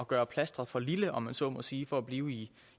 gøre plastret for lille om man så må sige for at blive